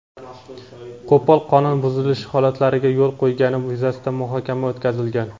qo‘pol qonun buzilishi holatlariga yo‘l qo‘ygani yuzasidan muhokama o‘tkazilgan.